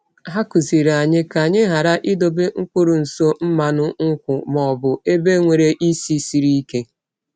Ha kụziiri anyị ka anyị ghara idobe mkpụrụ nso mmanụ nkwụ ma ọ bụ ebe nwere isi siri ike.